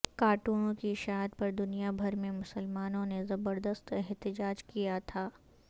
کارٹونوں کی اشاعت پر دنیا بھر میں مسلمانوں نے زبردست احتجاج کیا تھا